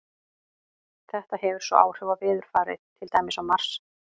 Þetta hefur svo áhrif á veðurfarið, til dæmis á Mars.